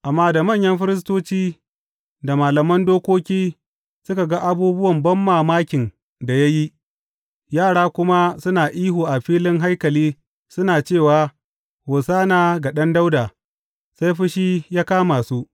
Amma da manyan firistoci da malaman dokoki suka ga abubuwan banmamakin da ya yi, yara kuma suna ihu a filin haikali suna cewa, Hosanna ga Ɗan Dawuda, sai fushi ya kama su.